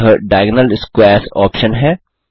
यह diagonal squares option है